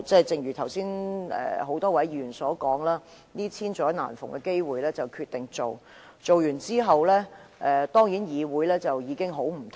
正如剛才多位議員所說，這是千載難逢的機會，他們決定提出修訂，而完成之後，議會當然會大為不同。